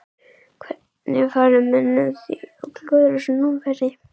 Hvernig fara menn að því að klúðra svona færi?